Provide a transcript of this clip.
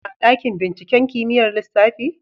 Muna ku a dakin binciken kimiyyar lissafi?